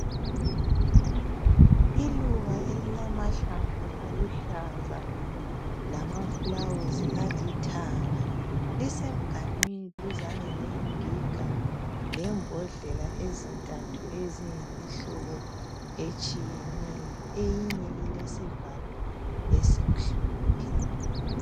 Iluba elilamahlamvu aluhlaza lamafulawuzi alithanga lisemganwini duzane lengiga lembodlela ezintathu eziyimihlobo etshiyeneyo. Eyinye ilesivalo esimhlophe.